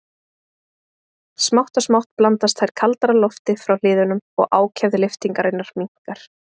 Smátt og smátt blandast þær kaldara lofti frá hliðunum og ákefð lyftingarinnar minnkar.